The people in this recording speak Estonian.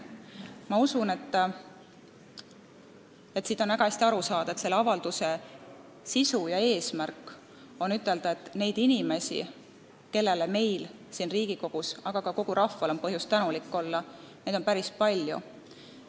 Ma usun, et väga hästi on aru saada: selle avalduse sisu ja eesmärk on ütelda, et neid inimesi, kellele on nii meil siin Riigikogus kui ka kogu rahval põhjust tänulik olla, on päris palju.